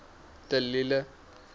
de lille